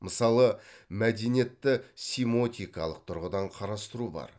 мысалы мәдениетті симотикалық тұрғыдан қарастыру бар